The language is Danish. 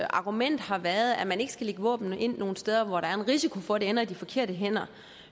argument har været at man ikke skal våben ind nogen steder hvor der er risiko for at de ender i de forkerte hænder